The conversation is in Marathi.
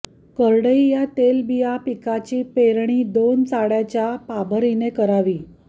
करडई या तेलबिया पिकाची पेरणी दोन चाड्याच्या पाभरीने करावी